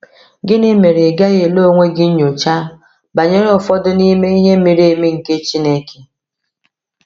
Gịnị mere ị gaghị ele onwe gị nyocha banyere ụfọdụ n’ime “ihe miri emi nke Chineke”?